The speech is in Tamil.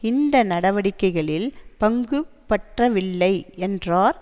இந்த நடவடிக்கைகளில் பங்குபற்றவில்லை என்றார்